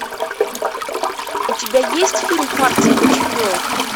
у тебя есть фильм партия для чемпионки